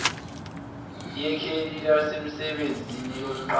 yekheli lasemsebenzini lomqashi